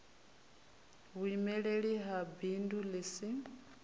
vhuimeli ha bindu ḽi si